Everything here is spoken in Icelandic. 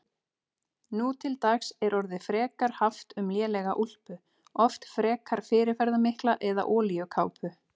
Nú til dags er orðið frekar haft um lélega úlpu, oft frekar fyrirferðarmikla, eða olíukápu.